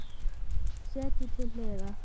Setjið til hliðar.